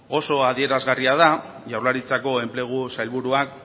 oso adierazgarria da jaurlaritzako enplegu sailburuak